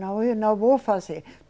Não, eu não vou fazer.